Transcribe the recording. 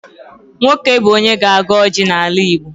Nwoke bụ onye na-agọ ọjị n'ala Igbo.